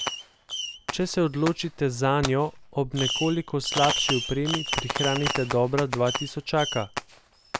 Če se odločite zanjo, ob nekoliko slabši opremi prihranite dobra dva tisočaka.